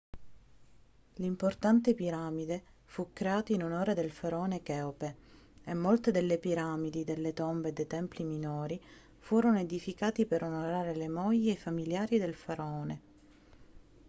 l'importante piramide fu creata in onore del faraone cheope e molte delle piramidi delle tombe e dei templi minori furono edificati per onorare le mogli e i familiari del faraone